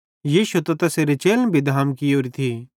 यीशु ते तैसेरे चेलन भी धाम कियोरी थी